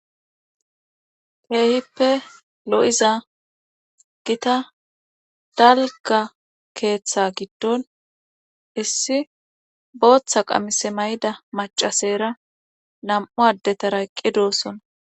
Keehippe lo7iza gita dalgga keetha giddon issi bootha qamise mayida maccaseera nam7u addetara eqqi doosona.